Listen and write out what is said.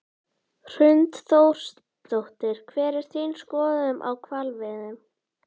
Hrund Þórsdóttir: Hver er þín skoðun á hvalveiðum?